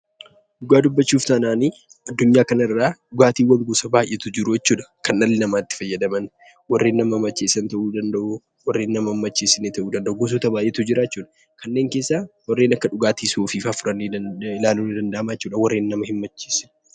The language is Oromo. Dhugaa dubbachuuf taanaan addunyaa kanarraa dhugaatii gosa baay'eetu jiru jechuudha. Kan dhalli namaa itti fayyadaman, warreen nama macheessan ta'uu danda'u, warreen nama hin macheessine ta'uu danda'u gosoota baay'eetu jira jechuudha. Kanneen keessaa warreen akka dhugaatii suusiifaa fudhannee ilaaluun ni danda'ama jechuudha warreen nama hin macheessine.